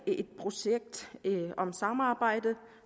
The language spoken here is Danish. et projekt om samarbejde